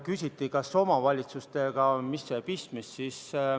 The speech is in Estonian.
Küsiti, mis on seal omavalitsustega pistmist.